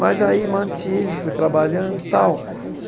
Mas aí mantive, fui trabalhando tal.